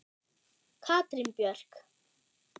Katrín Björk.